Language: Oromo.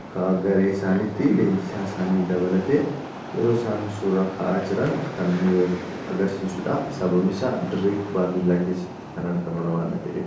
akka garee isaanitti leenjisaa isaanii dabalatee yeroo isaan suura ka'aa jiran kan nu agarsiisuudha. Sababni isaa dirree kubbaa miillaa keessatti kan argaman waanna ta'eef.